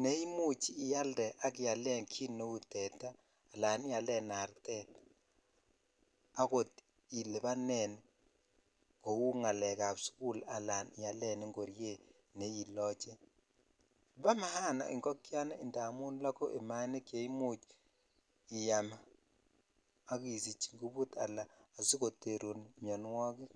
ne imuch ialde ak ialen kit neu tetaa alan ialen artet akot ilibanen kou ngalek ab sukul alan ialen ingoryet neiloche bo maana ingogenik amun loguk imainik che iysm ak isich ingamuput aka asikoterun minwokik.